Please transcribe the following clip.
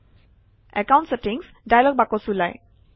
account settings dialogue box ওলায়